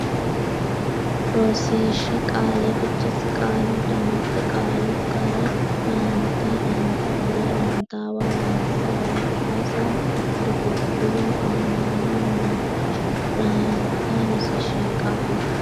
Rosiishsha Qaale Fichesi Qaalu dammatte Qaalu ga re raanta raanta fula rantaawa raantisa raadhasa dugugguru aana noo maala raanka Rosiishsha Qaale.